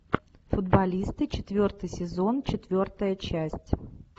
футболисты четвертый сезон четвертая часть